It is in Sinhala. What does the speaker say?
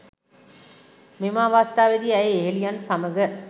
මෙම අවස්ථාවේදී ඇය යෙහෙළියන් සමඟ